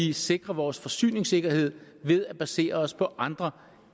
vi sikrer vores forsyningssikkerhed ved at basere os på andre